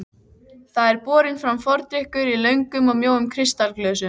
Það er borinn fram fordrykkur í löngum og mjóum kristalglösum.